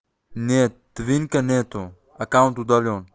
нет твинка нет аккаунт удалён